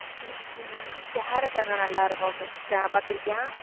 உம் உம் carrot அங்க நல்லா இருக்கும் fresh ஆ பாத்திருக்கியா